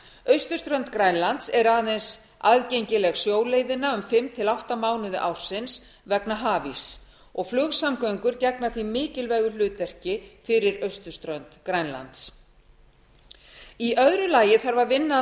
austurströnd grænlands er aðeins aðgengileg sjóleiðina um fimm til átta mánuði ársins vegna hafíss og flugsamgöngur gegna því mikilvægu hlutverki fyrir austurströnd grænlands annars vinna þarf að